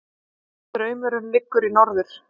Straumurinn liggur í norður